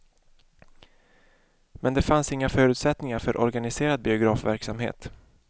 Men det fanns inga förutsättningar för organiserad biografverksamhet.